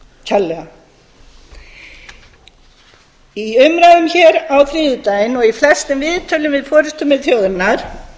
kærlega í umræðum hér á þriðjudaginn og í flestum viðtölum við forustumenn þjóðarinnar